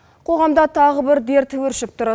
қоғамда тағы бір дерт өршіп тұр